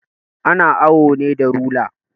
Ana awo ne da rula